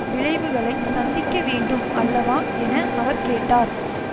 விளைவுகளை சந்திக்கவேண்டும் அல்லவா என அவர் கேட்டார்